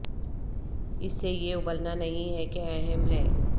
اس سے یہ ابلنا نہیں ہے کہ اہم ہے